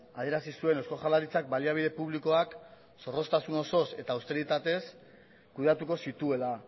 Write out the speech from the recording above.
adierazi zuen eusko jaurlaritzak baliabide publikoak zorroztasun osoz eta austeritatez kudeatuko zituela